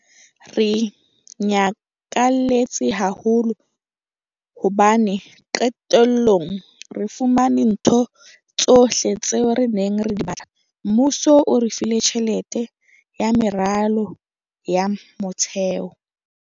Re nyakalletse haholo hobane qetellong re fumane ntho tsohle tseo re neng re di batla. Mmuso o re file tjhelete ya meralo ya motheo.